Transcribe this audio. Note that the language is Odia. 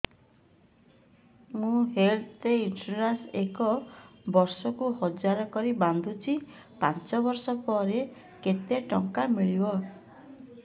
ମୁ ହେଲ୍ଥ ଇନ୍ସୁରାନ୍ସ ଏକ ବର୍ଷକୁ ହଜାର କରି ବାନ୍ଧୁଛି ପାଞ୍ଚ ବର୍ଷ ପରେ କେତେ ଟଙ୍କା ମିଳିବ